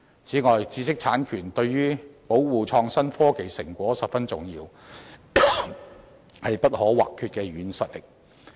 此外，知識產權對於保護創新科技成果十分重要，是不可或缺的"軟實力"。